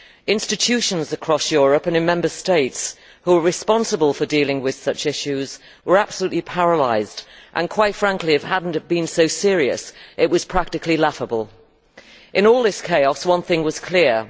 Institutions across Europe and in Member States who were responsible for dealing with such issues were absolutely paralysed and, quite frankly, if it had not been so serious, it would have been practically laughable. In all this chaos, one thing was clear.